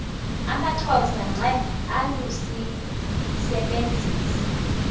amaxhosa ngqe alusisebenzisi